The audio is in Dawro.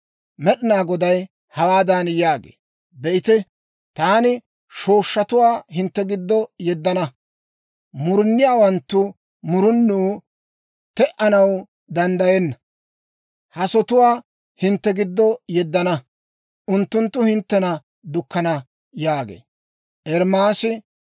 Med'inaa Goday hawaadan yaagee; «Be'ite, taani shooshshatuwaa hintte giddo yeddana. Muruniyaawanttu murunuu te"anaw danddayenna hasotuwaa hintte giddo yeddana; unttunttu hinttena dukkana» yaagee.